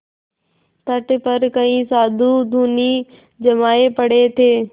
तट पर कई साधु धूनी जमाये पड़े थे